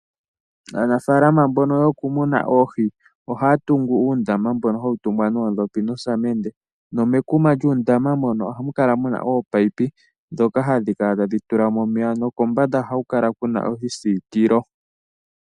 Aanafaalama mbono yo kumuna oohi ohaya tungu uundama mbono hawu tungwa noodhopi nosamende, nomekuma lyuundama mbono ohamu kala muna oopayipi dhoka hadhi kala tadhi tula mo omeya nokombanda ohaku kala kuna oshisiikilo.